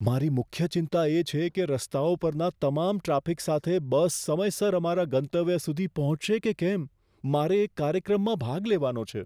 મારી મુખ્ય ચિંતા એ છે કે રસ્તાઓ પરના તમામ ટ્રાફિક સાથે બસ સમયસર અમારા ગંતવ્ય સુધી પહોંચશે કે કેમ. મારે એક કાર્યક્રમમાં ભાગ લેવાનો છે.